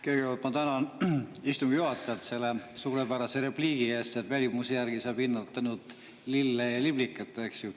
Kõigepealt ma tänan istungi juhatajat selle suurepärase repliigi eest, et välimuse järgi saab hinnata ainult lille ja liblikat.